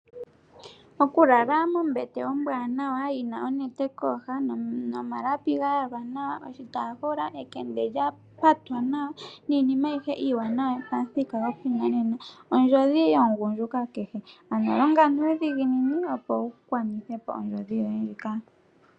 Okulala mombete ombwaanawa yi na onete kooha nomalapi ga yalwa nawa, oshitaafula ,ekende lya patwa nawa niinima ayihe iiwanawa yopamuthika goshinanena ondjodhi yomugundjuka kehe ano longa nuudhiginini opo wu gwanithe po ondjodhi yoye ndjika.